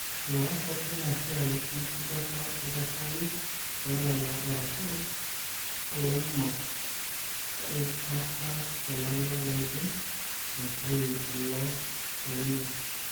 oloaas ake ina siai enkisujata oldakitari lolala arashu oloingor eikataa olala loidim aitayu ilo orerio.